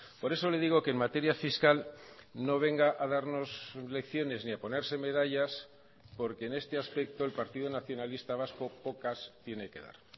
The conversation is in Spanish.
por eso le digo que en materia fiscal no venga a darnos lecciones ni a ponerse medallas porque en este aspecto el partido nacionalista vasco pocas tiene que dar